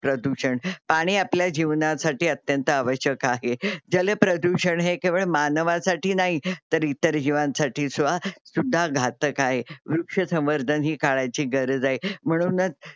प्रधुषण. पाणी आपल्या जीवनासाठी अत्यंत आवश्यक. जल प्रदूषण हे केवळ मानावासाठी नाही तर इतर जीवांनसाठी सुउं सुद्धा घातक आहे. वृक्षसंवर्धन हि काळाची गरज आहे म्हणूनच